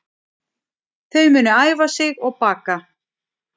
Þau munu æfa sig og baka